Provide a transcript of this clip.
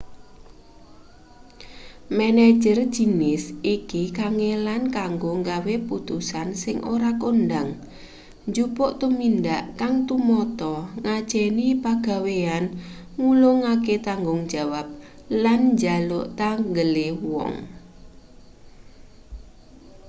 manajer jinis iki kangelan kanggo nggawe putusan sing ora kondhang njupuk tumindak kang tumata ngajeni pagawean ngulungake tanggung jawab lan njaluk tanggele wong